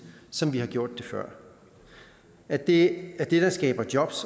som vi har gjort det før at det er det der skaber job